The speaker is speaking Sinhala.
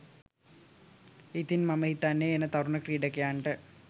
ඉතින් මම හිතන්නේ එන තරුණ ක්‍රීඩකයන්ට